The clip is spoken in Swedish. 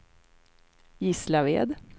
Gislaved